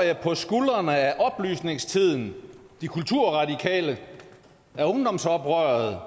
jeg på skuldrene af oplysningstiden af de kulturradikale af ungdomsoprøret